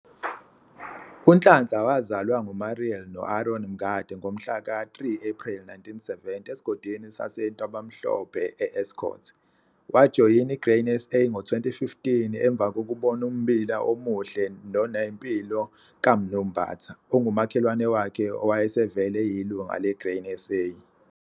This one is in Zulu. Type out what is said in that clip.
UNhlanhla wazalwa nguMuriel no-Aron Mngadi ngomhla ka-3 Ephreli 1970 eSigodini saseNtabamhlophe e-Escourt. Wajoyina iGrain SA ngo-2015 emva kokubona ummbila omuhle nonempilo kaMnu. Mbatha, ongumakhelwane wakhe owayesevele eyilungu leGrain SA.